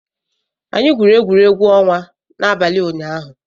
Anyị gwuru egwuregwu ọnwa n'abalị ụnyaahụ